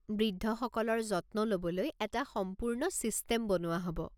বৃদ্ধসকলৰ যত্ন ল'বলৈ এটা সম্পূৰ্ণ ছিষ্টেম বনোৱা হ'ব।